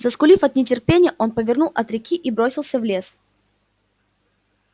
заскулив от нетерпения он повернул от реки и бросился в лес